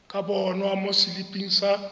ka bonwa mo seliping sa